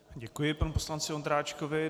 Děkuji panu poslanci Ondráčkovi.